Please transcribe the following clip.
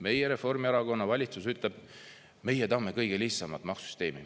Meie Reformierakonna valitsus ütleb: "Meie tahame kõige lihtsamat maksusüsteemi.